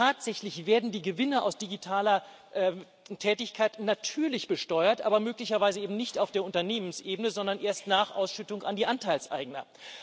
Denn tatsächlich werden die Gewinne aus digitaler Tätigkeit natürlich besteuert, aber möglicherweise eben nicht auf der Unternehmensebene, sondern erst nach Ausschüttung an die Anteilseigner.